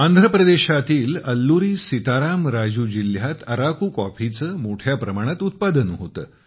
आंध्र प्रदेशातील अल्लुरी सीताराम राजू जिल्ह्यात अराकू कॉफीचे मोठ्या प्रमाणात उत्पादन होते